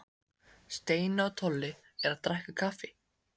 Steini og Tolli eru að drekka kaffi.